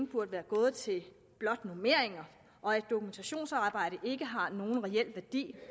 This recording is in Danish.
burde være gået til normeringer og at et dokumentationsarbejde ikke har nogen reel værdi